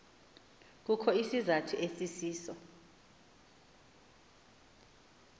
kukho isizathu esisiso